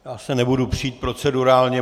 Já se nebudu přít procedurálně.